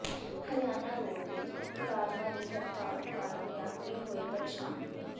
Haryana roadways ਮੁਲਾਜ਼ਮਾਂ ਦੀ ਹੜਤਾਲ ਕਾਰਨ ਯਾਤਰੀ ਹੋਏ ਪ੍ਰੇਸ਼ਾਨ